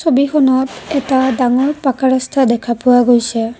ছবিখনত এটা ডাঙৰ পাকা ৰাস্তা দেখা পোৱা গৈছে।